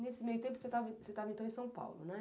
Nesse meio tempo, você estava, então, em São Paulo, não é?